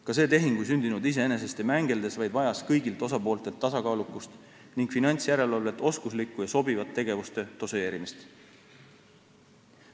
Ka see tehing ei sündinud iseenesest ja mängeldes, vaid vajas kõigilt osapooltelt tasakaalukust ning finantsjärelevalvelt oskuslikku ja sobivat tegevuste doseerimist.